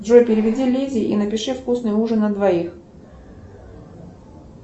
джой переведи лизе и напиши вкусный ужин на двоих